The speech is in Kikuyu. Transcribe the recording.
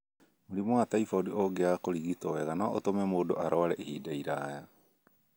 Mũrimũ wa typhoid ũngĩaga kũrigitwo wega no ũtũme mũndũ arware ihinda iraya.